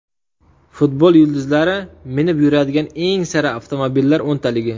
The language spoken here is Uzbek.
Futbol yulduzlari minib yuradigan eng sara avtomobillar o‘ntaligi.